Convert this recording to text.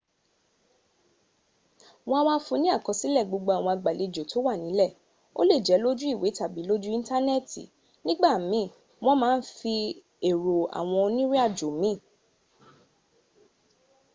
won a wa fun ni ni akosile gbogbo awon agbalejo to wa nile o le je loju iwe tabi loju intaneeti nigbamiin won ma n fi ero awon onirinajo miin